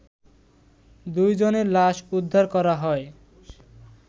দুই জনের লাশ উদ্ধার করা হয়